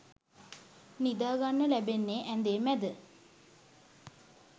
නිදාගන්න ලැබෙන්නෙ ඇඳේ මැද.